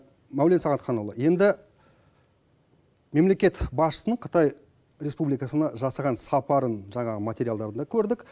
мәулен сағатханұлы енді мемлекет басшысының қытай республикасына жасаған сапарын жаңағы материалдарында көрдік